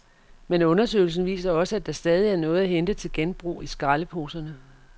Men undersøgelsen viser også, at der stadig er noget at hente til genbrug i skraldeposerne.